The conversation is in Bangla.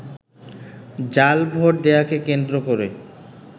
জাল ভোট দেয়াকে কেন্দ্র করে